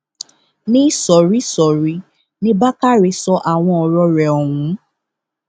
níṣoríìsọrí ní bákàrẹ sọ àwọn ọrọ rẹ ọhún